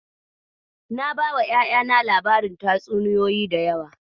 Na bawa ƴaƴana labarin tatsuniyoyi da yawa.